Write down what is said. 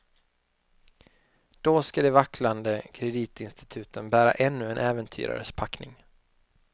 Då ska de vacklande kreditinstituten bära ännu en äventyrares packning.